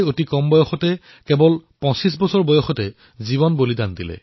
ভগৱান বিৰছা মুণ্ডাই ২৫ বছৰ বয়সতেই জীৱনৰ বলিদান দিছিল